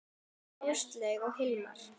Áslaug og Hilmar.